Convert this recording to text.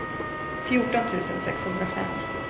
fjorton tusen sexhundrafem